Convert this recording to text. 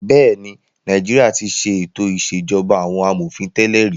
Bẹ́ẹ̀ ni, Nàìjíríà ti ṣe ètò ìṣèjọba àwọn amòfin tẹ́lẹ̀ rí.